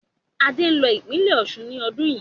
Adé ń lọ ìpínlẹ́ Osun ni ọdún yii